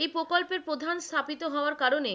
এই প্রকল্পের প্রধান স্থাপিত হওয়ার কারণে,